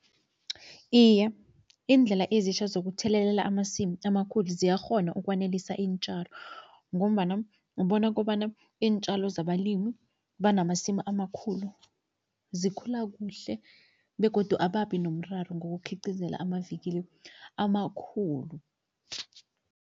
Iye, iindlela ezitjha zokuthelelela amasimu amakhulu ziyakghona ukwanelisa iintjalo ngombana ubona kobana iintjalo zabalimu abanamasimu amakhulu, zikhula kuhle begodu ababi nomraro ngokukhiqizela amavikili amakhulu.